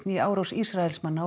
í árás Ísraelsmanna